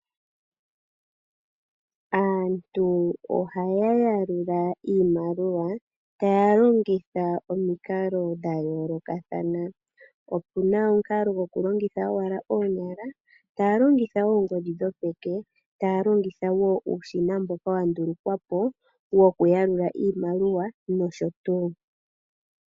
Aantu ohaya yalula iimaliwa ta yalongitha omikalo dha yoolokathana. Opuna omukalo gwo kulongitha owala oonyala, taya longita oongodhi dhopeke, taya longitha woo uushina mboka wa ndulukwapo wo kuyalula iimaliwa nosho tuu.